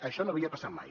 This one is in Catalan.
això no havia passat mai